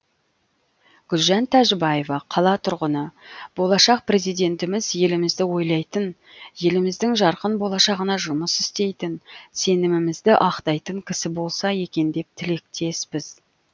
гүлжан тәжібаева қала тұрғыны болашақ президентіміз елімізді ойлайтын еліміздің жарқын болашағына жұмыс істейтін сенімімізді ақтайтын кісі болса екен деп тілектеспіз